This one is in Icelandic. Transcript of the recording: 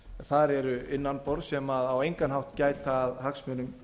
þar eru innan borðs sem á engan hátt gæta að hagsmunum